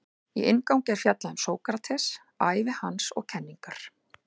Í inngangi er fjallað um Sókrates, ævi hans og kenningar.